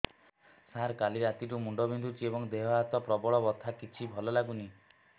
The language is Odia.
ସାର କାଲି ରାତିଠୁ ମୁଣ୍ଡ ବିନ୍ଧୁଛି ଏବଂ ଦେହ ହାତ ପ୍ରବଳ ବଥା କିଛି ଭଲ ଲାଗୁନି